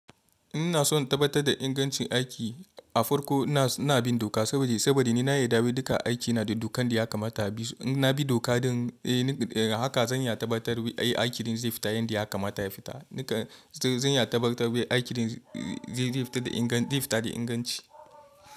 Ina so in tabbatar da ingancin aiki, a farko ina bina doka saboda saboda ni na yarda dai duka aiki na da dokan da ya kamata. In nabi doka don haka zan iya tabbatar ai aikin zai fita yanda ya kamata ya fita. Duka zan iya tabbatar aikin zai fita da inganci.